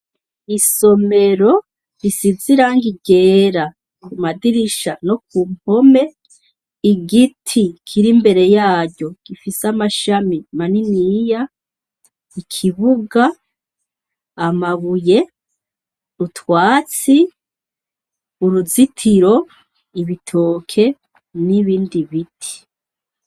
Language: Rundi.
Isomero risiziranga igera ku madirisha no ku mpome igiti kiri imbere yaryo gifise amashami maniniya ikibuga amabuye utwatsi uruzitiro ibitoke n'ibindi biti.